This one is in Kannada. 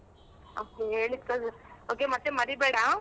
Okay okay ಮತ್ತೆ ಮರಿಬೇಡ.